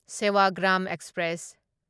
Sevagram express